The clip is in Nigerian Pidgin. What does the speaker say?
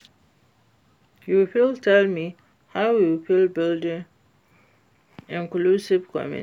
you fit tell me how we fit build inclusive community?